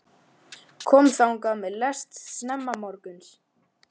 Kom þangað með lest snemma morguns.